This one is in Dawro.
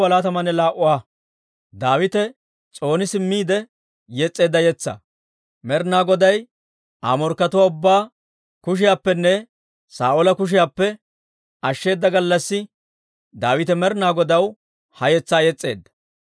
Med'inaa Goday Aa morkkatuwaa ubbaa kushiyaappenne Saa'oola kushiyaappe ashsheeda gallassi Daawite Med'inaa Godaw ha yetsaa yes's'eedda.